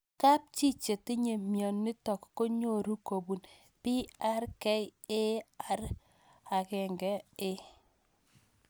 Kapchii che tinye mionitok ko nyoru kopun PRKAR1A